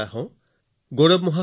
নমস্কাৰ গৌৰৱ জী